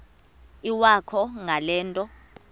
iwakho ngale nto